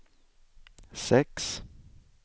sex